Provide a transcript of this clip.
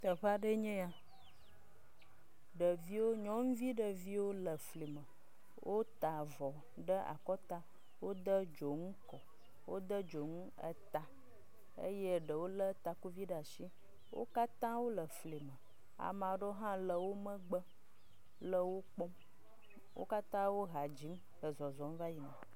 Teƒe aɖeee nye ya ɖeviwo nyɔnuvi ɖeviwoe le fli me, wota avɔ ɖe akɔta, wode dzonu kɔ wode dzonu eta eyewole takuvi ɖe asi, ame aɖewo le wo megbe le wo kpɔm wo katã wo hã dzi le zɔzɔm va yina.